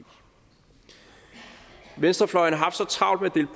venstrefløjen har haft så travlt med